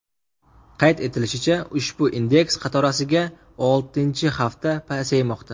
Qayd etilishicha, ushbu indeks qatorasiga oltinchi hafta pasaymoqda.